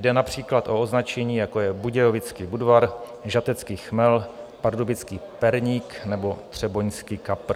Jde například o označení jako je Budějovický Budvar, Žatecký chmel, Pardubický perník nebo Třeboňský kapr.